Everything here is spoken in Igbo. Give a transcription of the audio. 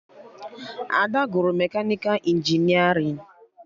Ada gụrụ mekanịka injinerịn